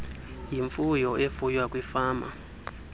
yimfuyo efuywa kwifama